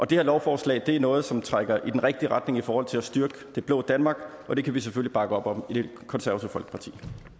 det her lovforslag er noget som trækker i den rigtige retning i forhold til at styrke det blå danmark og det kan vi selvfølgelig bakke op om i det konservative folkeparti